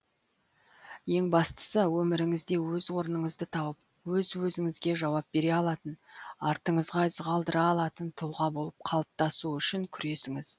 ең бастысы өміріңізде өз орныңызды тауып өз өзіңізге жауап бере алатын артыңызға із қалдыра алатын тұлға болып қалыптасу үшін күресіңіз